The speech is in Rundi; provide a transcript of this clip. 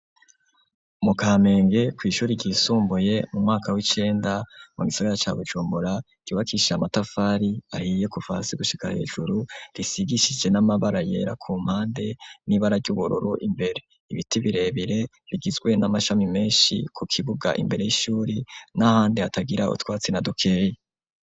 Mu kamenge kw'ishuri ryisumbuye mu mwaka w'icenda mu Gisagara ca Bujumbura ryubakishije amatafari ahiye kuv hasi gushiga hejuru risigishije n'amabara yera ku mpande n'ibara ry'ubururu imbere, ibiti birebire bigizwe n'amashami menshi ku kibuga imbere y'ishuri n'ahandi atagira utwatsi na dukeyi.